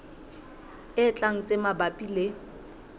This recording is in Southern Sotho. e tlang tse mabapi le